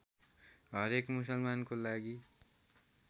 हरेक मुसलमानको लागि